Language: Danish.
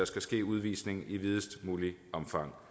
skal ske udvisning i videst muligt omfang